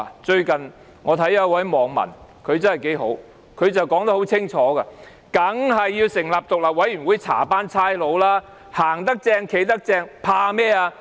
最近我看到一個網民說得很好，他說得很清楚："當然要成立獨立委員會調查警方，行得正，企得正，怕甚麼？